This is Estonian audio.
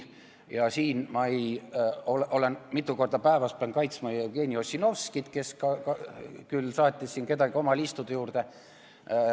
Ja selle koha pealt ma pean mitu korda päevas kaitsma Jevgeni Ossinovskit, kes küll saatis siin kedagi oma liistude juurde.